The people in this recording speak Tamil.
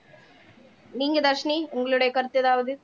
நீங்க தர்ஷினி உங்களுடைய கருத்து ஏதாவது